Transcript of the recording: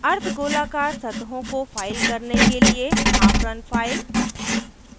अर्द्ध गोलाकार सतहों को फाइल करने के लिए हाफ रन फ़ाइल